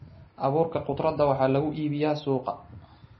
Abuurka khudradda waxaa lagu iibiyaa suuqa.